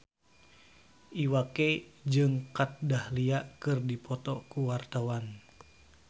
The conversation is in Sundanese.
Iwa K jeung Kat Dahlia keur dipoto ku wartawan